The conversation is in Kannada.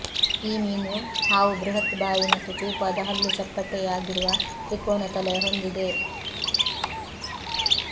ಈ ಮೀನು ಹಾವು ಬೃಹತ್ ಬಾಯಿ ಮತ್ತು ಚೂಪಾದ ಹಲ್ಲು ಚಪ್ಪಟ್ಟೆಯಾಗಿರುವ ತ್ರಿಕೋನ ತಲೆಯ ಹೊಂದಿದೆ